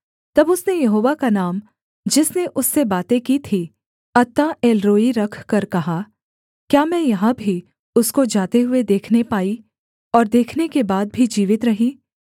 तब उसने यहोवा का नाम जिसने उससे बातें की थीं अत्ताएलरोई रखकर कहा क्या मैं यहाँ भी उसको जाते हुए देखने पाई और देखने के बाद भी जीवित रही